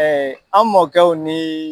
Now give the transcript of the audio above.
an mɔkɛw ni